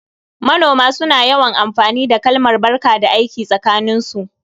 Manoma suna yawan amfani da kalmar "barka da aiki" tsakaninsu